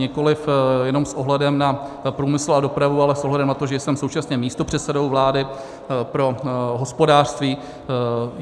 Nikoliv jenom s ohledem na průmysl a dopravu, ale s ohledem na to, že jsem současně místopředsedou vlády pro hospodářství.